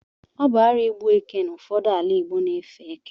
Ọ bụ arụ igbu eke n’ụfọdụ ala igbo na-efe eke